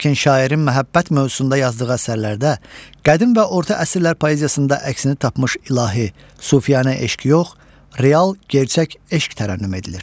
Lakin şairin məhəbbət mövzusunda yazdığı əsərlərdə qədim və orta əsrlər poeziyasında əksini tapmış ilahi, sufiyanə eşq yox, real, gerçək eşq tərənnüm edilir.